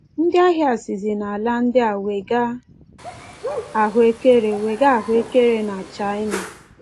Ndị ahịa sizi n’ala ndị a wega ahụekere wega ahụekere na China.